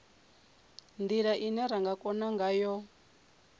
ndila ine ra kona ngayo